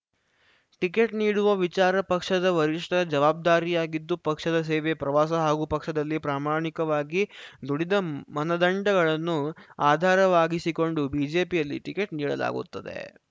ticket ನೀಡುವ ವಿಚಾರ ಪಕ್ಷದ ವರಿಷ್ಠರ ಜವಾಬ್ದಾರಿಯಾಗಿದ್ದು ಪಕ್ಷದ ಸೇವೆ ಪ್ರವಾಸ ಹಾಗೂ ಪಕ್ಷದಲ್ಲಿ ಪ್ರಾಮಾಣಿಕವಾಗಿ ದುಡಿದ ಮನದಂಡಗಳನ್ನು ಆಧಾರವಾಗಿಸಿಕೊಂಡು ಬಿಜೆಪಿಯಲ್ಲಿ ಟಿಕೆಟ್‌ ನೀಡಲಾಗುತ್ತದೆ